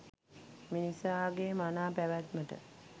මිනිසාගේ මනා පැවැත්මට